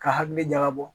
Ka hakili ɲaga bɔ